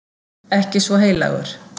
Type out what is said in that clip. Ekki svo heilagur.